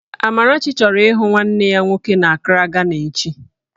Amarachi chọrọ ịhụ nwanne ya nwoke n'Akraa, Gana echi